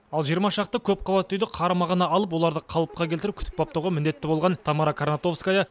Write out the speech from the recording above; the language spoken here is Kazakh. ал жиырма шақты көпқабатты үйді қарамағына алып оларды қалыпқа келтіріп күтіп баптауға міндетті болған тамара каратовская